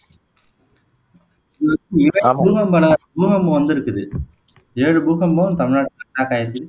பூகம்பம் பூகம்பம் வந்திருக்குது ஏழு பூகம்பம் தமிழ்நாட்டுல ஸ்டார்ட் ஆயிருக்கு